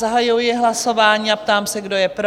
Zahajuji hlasování a ptám se, kdo je pro?